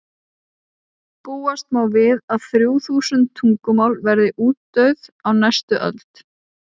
búast má við að þrjú þúsund tungumál verði útdauð á næstu öld